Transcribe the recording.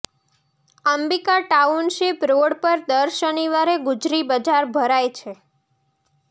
Ambika township road પર દર શનિવારે ગુજરી બજાર ભરાઈ છે